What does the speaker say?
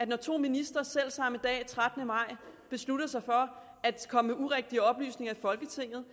når to ministre selv samme dag den trettende maj beslutter sig for at komme med urigtige oplysninger i folketinget